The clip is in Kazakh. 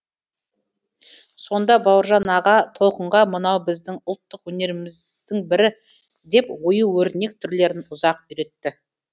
сонда бауыржан аға толқынға мынау біздің ұлттық өнеріміздің бірі деп ою өрнек түрлерін ұзақ үйретті